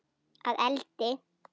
Að eldi?